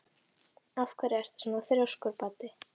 Af hverju ertu svona þrjóskur, Baddi?